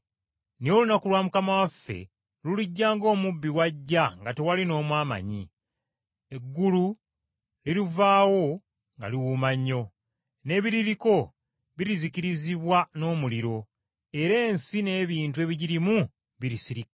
Naye olunaku lwa Mukama waffe lulijja ng’omubbi bw’ajja nga tewali n’omu amanyi; eggulu lirivaawo nga liwuuma nnyo, n’ebiririko birizikirizibwa n’omuliro, era ensi n’ebintu ebigirimu birisirikka.